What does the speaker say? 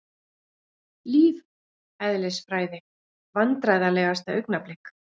Lífeðlisfræði Vandræðalegasta augnablik?